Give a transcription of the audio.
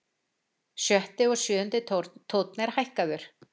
Sjötti og sjöundi tónn er hækkaður.